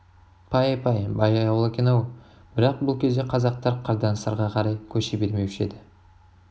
пай-пай бай ауыл екен-ау бірақ бұл кезде қазақтар қырдан сырға қарай көше бермеуші еді